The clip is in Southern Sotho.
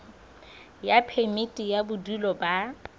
ya phemiti ya bodulo ba